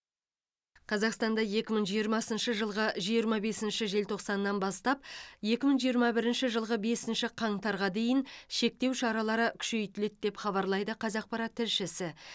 қазақстанда екі мың жиырмасыншы жылғы жиырма бірінші желтоқсаннан бастап екі мың жиырма бірінші жылғы бесінші қаңтарға дейін шектеу шаралары күшейтіледі деп хабарлайды қазақпарат тілшісі